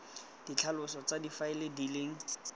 ditlhaloso tsa difaele di leng